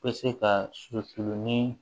Bɛ se ka su ni